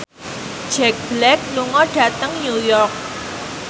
Jack Black lunga dhateng New York